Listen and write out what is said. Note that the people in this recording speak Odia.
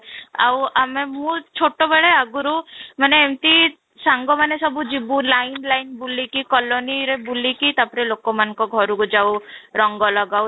ଆଉ ଆମେ ମୁଁ ଛୋଟବେଳେ ଆଗରୁ ମାନେ ଏମିତି ସାଙ୍ଗମାନେ ସବୁ ଯିବୁ line line ବୁଲିକି colony ରେ ବୁଲିକି ତାପରେ ଲୋକମାନଙ୍କ ଘରକୁ ଯାଉ ତାପରେ ରଙ୍ଗ ଲଗାଉ